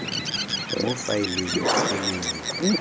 mo faeleng e le nngwe